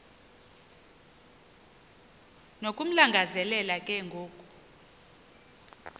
nokumlangazelela ke ngoku